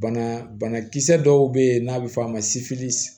Bana bana bana kisɛ dɔw be yen n'a be f'a ma